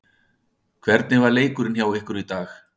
Hvernig var leikurinn hjá ykkur í dag?